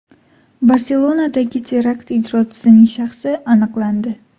Barselonadagi terakt ijrochisining shaxsi aniqlandi.